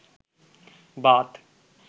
Baat